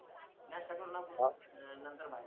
नास्ता करू नको अं नंतर